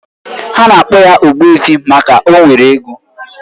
Ha na-akpo ya Ogbuefi maka o nwere ego